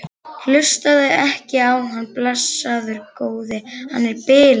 Hlustaðu ekki á hann, blessaður góði. hann er bilaður!